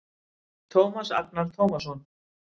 Tómas Agnar Tómasson